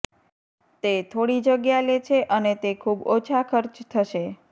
તે થોડી જગ્યા લે છે અને તે ખૂબ ઓછા ખર્ચ થશે